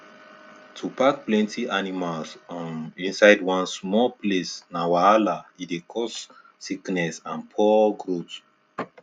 to pack plenty animals um inside one small place na wahala e dey cause sickness and poor growth